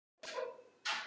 Hjá því sé ekki komist.